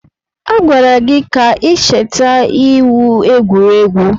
A gwara gị ka ị cheta iwu egwuregwu!